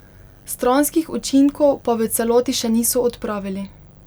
Stranskih učinkov pa v celoti še niso odpravili.